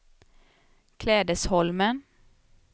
Klädesholmen